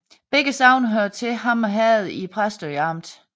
Begge sogne hørte til Hammer Herred i Præstø Amt